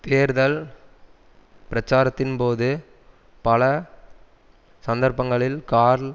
தேர்தல் பிரச்சாரத்தின்போது பல சந்தர்ப்பங்களில் கார்ல்